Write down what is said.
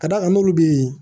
Ka d'a kan n'olu bɛ yen